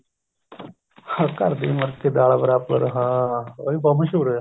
ਘਰ ਦੀ ਮੁਰਗੀ ਦਾਲ ਬਰਾਬਰ ਹਾਂ ਉਹ ਵੀ ਬਹੁਤ ਮਸੂਹਰ ਹੋਇਆ